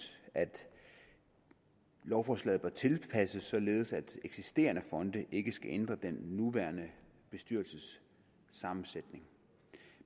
at lovforslaget bør tilpasses således at eksisterende fonde ikke skal ændre den nuværende bestyrelses sammensætning